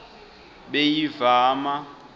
beyivama